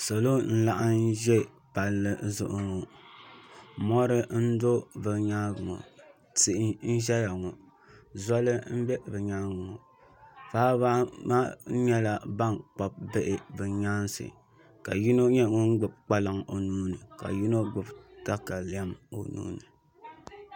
Salo n laɣam ʒi palli zuɣu ŋɔ mɔri n di bi nyaangi pɔ tihi n ʒɛya ŋɔ zɔli n bɛ bi nyaangi ŋɔ paɣaba anahi nyɛla ban kpabi bihi bi nyaanga ka yino nyɛ ŋun gbubi kpalaŋ o nuuni ka yino gbubi katalɛm o nuuni